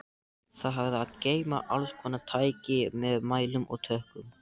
Það hafði að geyma allskonar tæki með mælum og tökkum.